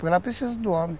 ela precisa do homem.